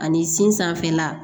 Ani sin sanfɛla